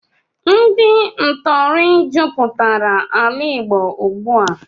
Ndị ntọrị jụpụtara ala Igbo ụgbụ a